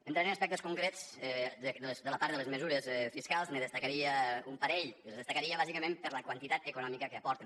entrant en aspectes concrets de la part de les mesures fiscals en destacaria un parell i les destacaria bàsicament per la quantitat econòmica que aporten